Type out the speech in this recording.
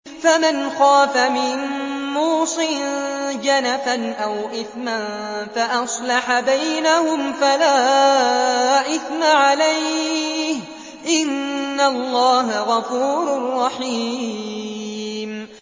فَمَنْ خَافَ مِن مُّوصٍ جَنَفًا أَوْ إِثْمًا فَأَصْلَحَ بَيْنَهُمْ فَلَا إِثْمَ عَلَيْهِ ۚ إِنَّ اللَّهَ غَفُورٌ رَّحِيمٌ